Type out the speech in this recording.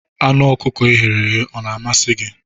Anụ ọkụkọ e ghere eghe ọ na-amasị gị?